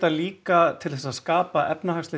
líka til að skapa efnahagsleg